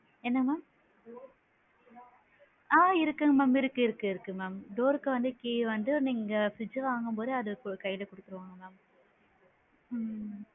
என்ன mam ஆ இருக்கு mam இருக்கு இருக்கு mamdoor ருக்கு வந்து key வந்து நீங்க fridge வாங்கும் போதே அதுக்கு கையில குடுத்திடுவாங்க madam ம்.